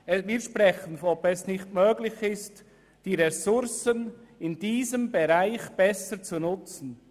Wir sprechen davon, ob es allenfalls möglich wäre, die Ressourcen in diesem Bereich besser zu nutzen.